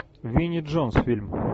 винни джонс фильм